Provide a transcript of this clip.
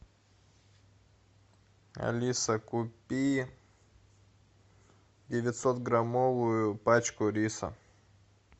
алиса купи девятьсот граммовую пачку риса